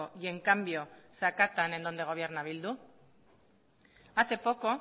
y en cambio se acatan en donde gobierna bildu hace poco